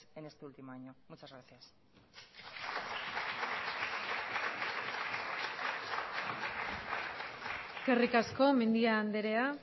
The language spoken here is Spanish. en este último año muchas gracias eskerrik asko mendia andrea